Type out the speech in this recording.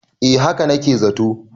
eh haka na ke zato